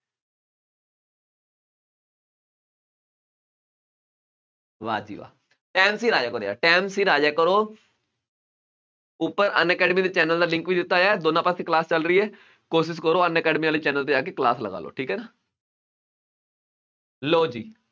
ਵਾਹ ਜੀ ਵਾਹ time ਸਿਰ ਆ ਜਾਇਆ ਕਰੋ ਯਾਰ time ਸਿਰ ਆ ਜਾਇਆ ਕਰੋ ਉੱਪਰ ਅਨਅਕੈਡਮੀ ਦੇ channel ਦਾ link ਵੀ ਦਿੱਤਾ ਹੋਇਆ ਹੈ ਦੋਨਾਂ ਪਾਸੇ class ਚੱਲ ਰਹੀ ਹੈ ਕੋਸ਼ਿਸ਼ ਕਰੋ ਅਨਅਕੈਡਮੀ ਵਾਲੇ channel ਤੇ ਜਾ ਕੇ class ਲਗਾ ਲਓ ਠੀਕ ਹੈ ਨਾ ਲਓ ਜੀ